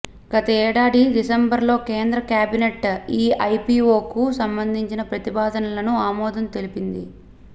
గత ఏడాది డిసెంబర్లో కేంద్ర కేబినెట్ ఈ ఐపీఓకు సంబంధించిన ప్రతిపాదనలకు ఆమోదం తెలిపింది